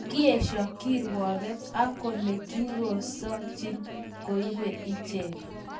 Kiesho kirueget ak kole kikokoshin koibge ichek